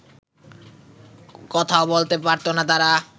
কথাও বলতে পারত না তারা